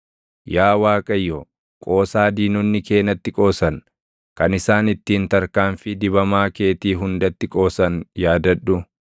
yaa Waaqayyo, qoosaa diinonni kee natti qoosan, kan isaan ittiin tarkaanfii dibamaa keetii hundatti qoosan yaadadhu.